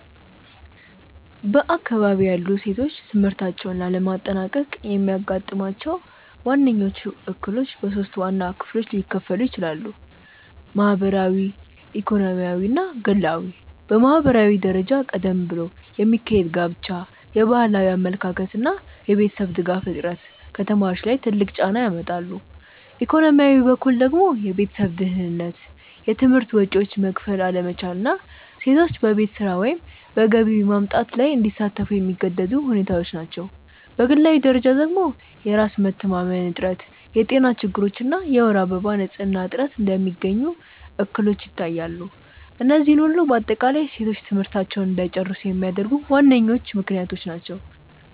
በአካባቢዬ ያሉ ሴቶች ትምህርታቸውን ላለማጠናቀቅ የሚያጋጥሟቸው ዋነኞቹ እክሎች በሶስት ዋና ክፍሎች ሊከፈሉ ይችላሉ። ማህበራዊ፣ ኢኮኖሚያዊ እና ግላዊ። በማህበራዊ ደረጃ ቀደም ብሎ የሚካሄድ ጋብቻ፣ የባህላዊ አመለካከት እና የቤተሰብ ድጋፍ እጥረት ከተማሪዎች ላይ ትልቅ ጫና ያመጣሉ፤ ኢኮኖሚያዊ በኩል ደግሞ የቤተሰብ ድህነት፣ የትምህርት ወጪዎችን መክፈል አለመቻል እና ሴቶች በቤት ስራ ወይም በገቢ ማምጣት ላይ እንዲሳተፉ የሚገደዱ ሁኔታዎች ናቸው፤ በግላዊ ደረጃ ደግሞ የራስ መተማመን እጥረት፣ የጤና ችግሮች እና የወር አበባ ንፅህና እጥረት እንደሚገኙ እክሎች ይታያሉ፤ እነዚህ ሁሉ በአጠቃላይ ሴቶች ትምህርታቸውን እንዳይጨርሱ የሚያደርጉ ዋነኞቹ ምክንያቶች ናቸው።